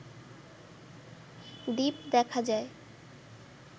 দ্বীপ দেখা যায়